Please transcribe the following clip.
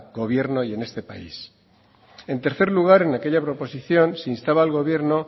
gobierno y en este país en tercer lugar en aquella proposición se instaba al gobierno